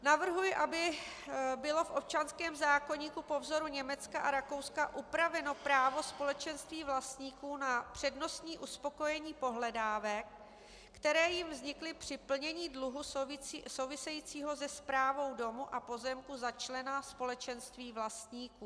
Navrhuji, aby bylo v občanském zákoníku po vzoru Německa a Rakouska upraveno právo společenství vlastníků na přednostní uspokojení pohledávek, které jim vznikly při plnění dluhu souvisejícího se správou domu a pozemku za člena společenství vlastníků.